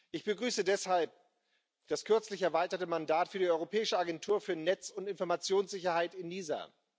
Ich begrüße deshalb das kürzlich erweiterte Mandat für die Europäische Agentur für Netz und Informationssicherheit ENISA.